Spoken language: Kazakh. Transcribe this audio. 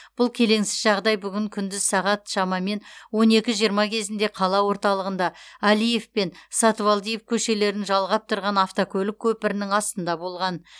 бұл келеңсіз жағдай бүгін күндіз сағат шамамен он екі жиырма кезінде қала орталығында әлиев пен сатыбалдиев көшелерін жалғап тұрған автокөлік көпірінің астында болған